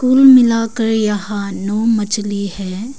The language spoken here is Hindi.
कुल मिलाकर यहां नौ मछली है।